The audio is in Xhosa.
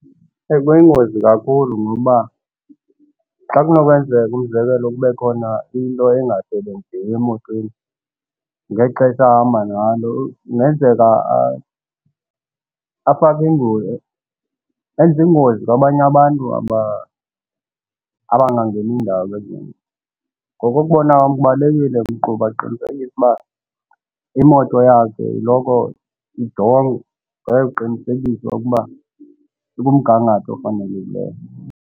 Kuyingozi kakhulu ngobaba xa kunokwenzeka umzekelo kube khona into engasebenziyo emotweni ngexesha ahamba ngalo kungenzeka enze ingozi kwabanye abantu aba abangangeni ndawo kwezinto. Ngokokubona kwam kubalulekile umqhubi aqinisekise uba imoto yakhe iloko ijongwe aye kuqinisekisa ukuba ikumgangatho ofanelekileyo.